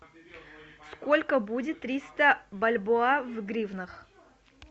сколько будет триста бальбоа в гривнах